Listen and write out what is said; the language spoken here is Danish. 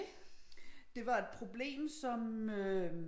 Det var et problem som øh